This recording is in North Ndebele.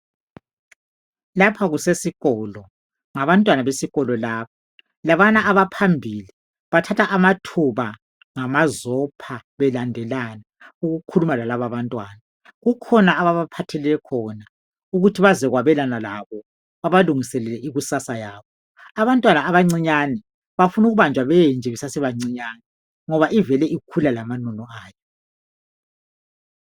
Lapha kusesikolo ngabantwana besikolo laba. Labana abaphambili bathatha amathuba ngamazopha belandelana ukukhuluma lalaba abantwana. Kukhona ababaphathele khona ukuthi bazokwabelana labo babalungiselele ikusasa yabo. Abantwana abancinyane bafuna ukubanjwa benje besase bancinyane ngoba ivele ikhula lamanono ayo.